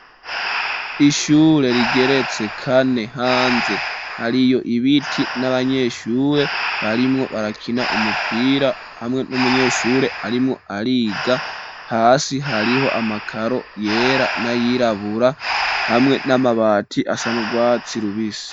Ishure rigeretse kane, hanze hariyo ibiti n'abanyeshure barimwo barakina umupira hamwe n'umunyeshure arimwo ariga, hasi hariho amakaro yera n'ayirabura, hamwe n'amabati asa n'urwatsi rubisi.